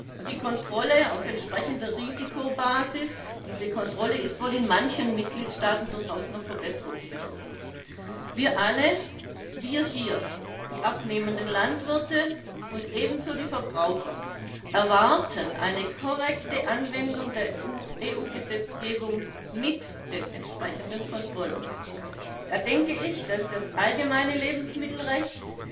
Und die Kontrolle auf entsprechender Risikobasis ist wohl in manchen Mitgliedstaaten durchaus noch verbesserungsbedürftig. Wir alle wir hier, die abnehmenden Landwirte und ebenso die Verbraucher erwarten eine korrekte Anwendung der EU Gesetzgebung mit den entsprechenden Kontrollen. Da denke ich, dass das allgemeine Lebensmittelrecht,